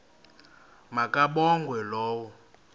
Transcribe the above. ma kabongwe low